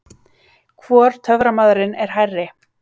Hvor töframaðurinn er hærri?